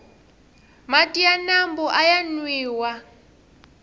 mati ya mambu aya nwiwa